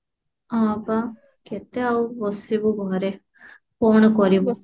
ଆଉ କଣ କେତେ ଆଉ ବସିବୁ ଘରେ କଣ କରିବୁ